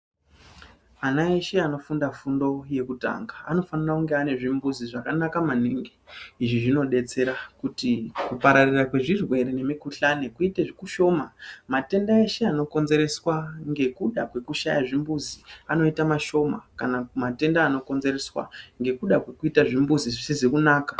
Ana eshe anofunda fundo yekutanga anofana kunge ane zvimbuzi zvakanaka maningi. Izvi zvinodetsera kuti kupararira kwezvirwere nemikhuhlane kuite kashoma. Matenda eshe anokonzereswa nekuda kwekushaya zvimbuzi anoita mashoma kana matenda anokonzereswa nekuda kwezvimbuzi zvisizi kunaka.